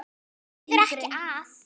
Það þýðir ekki að.